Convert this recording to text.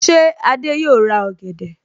Ṣé Adé yòó ra ọ̀gẹ̀dẹ̀?